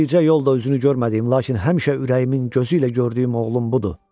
Bircə yol da üzünü görmədiyim, lakin həmişə ürəyimin gözü ilə gördüyüm oğlum budur.